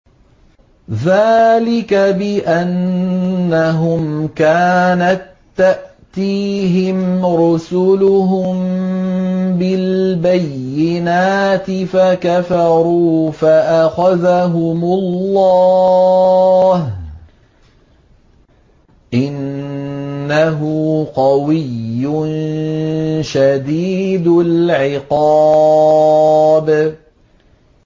ذَٰلِكَ بِأَنَّهُمْ كَانَت تَّأْتِيهِمْ رُسُلُهُم بِالْبَيِّنَاتِ فَكَفَرُوا فَأَخَذَهُمُ اللَّهُ ۚ إِنَّهُ قَوِيٌّ شَدِيدُ الْعِقَابِ